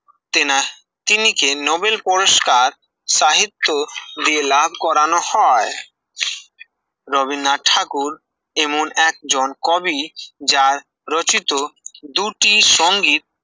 তেনা তিনিকে নোবেল পুরস্কার সাহিত্য দিয়ে লাভ করানো হয় রবীন্দ্রনাথ ঠাকুর এমন একজন কবি যার রচিত যুতি সংগীত